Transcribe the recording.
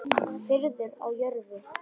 Friður á jörðu.